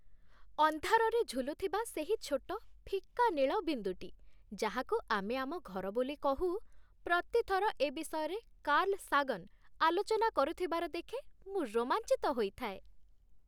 ଅନ୍ଧାରରେ ଝୁଲୁଥିବା ସେହି ଛୋଟ ଫିକା ନୀଳ ବିନ୍ଦୁଟି, ଯାହାକୁ ଆମେ ଆମ ଘର ବୋଲି କହୁ', ପ୍ରତି ଥର ଏ ବିଷୟରେ କାର୍ଲ୍ ସାଗନ୍ ଆଲୋଚନା କରୁଥିବାର ଦେଖେ, ମୁଁ ରୋମାଞ୍ଚିତ ହୋଇଥାଏ।